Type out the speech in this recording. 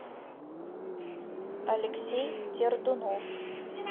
алексей тердунов